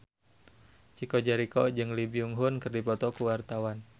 Chico Jericho jeung Lee Byung Hun keur dipoto ku wartawan